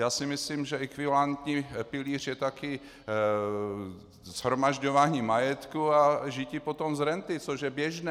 Já si myslím, že ekvivalentní pilíř je taky shromažďování majetku a žití potom z renty, což je běžné.